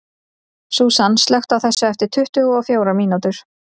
Súsan, slökktu á þessu eftir tuttugu og fjórar mínútur.